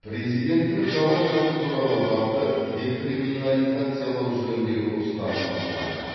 президенттің жала жабу туралы бапты декриминализациялау жөніндегі ұстанымы қуантады